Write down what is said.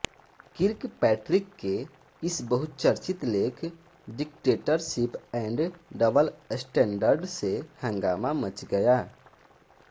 Kirkpatrick के इस बहुचर्चित लेख डिक्टेटरशिप ऐंड डबल स्टैंडर्ड से हंगामा मच गया